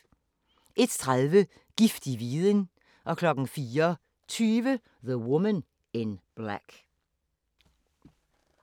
01:30: Giftig viden 04:20: The Woman in Black